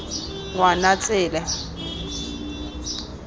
ngwanatsele